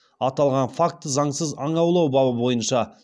аталған факті заңсыз аң аулау бабы бойынша